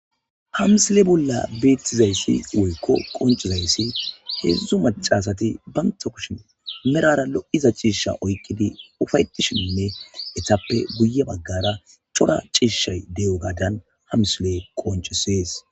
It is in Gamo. hamsile bolla beettizayssi woykko qoncizayssi heedzdzu macasati banta kushin merara lo7iza ciisha oykkidi ufayetishinne etappe guye baggara cora ciishshay de7o gaadan hamsile qonce sees